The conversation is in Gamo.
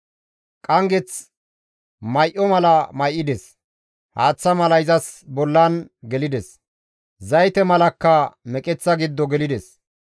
Qanggeth may7o mala may7ides; haaththa mala izas bollan gelides; zayte malakka meqeththa giddo gelides.